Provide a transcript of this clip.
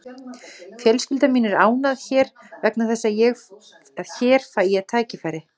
Fjölskylda mín er ánægð hér vegna þess að hér fæ ég tækifæri.